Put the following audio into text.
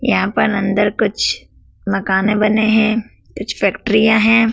यहां पर अंदर कुछ मकाने बने है। कुछ फैक्ट्रिया हैं।